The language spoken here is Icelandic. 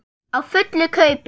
Á fullu kaupi.